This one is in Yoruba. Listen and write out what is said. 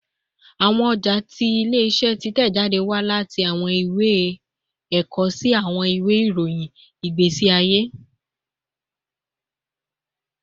Awọn ọja ti ile-iṣẹ titẹjade wa lati awọn iwe ẹkọ si awọn iwe irohin igbesi aye